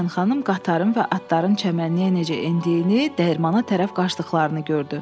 Tışpayın xanım qatarın və atların çəmənliyə necə endiyini, dəyirmana tərəf qaçdıqlarını gördü.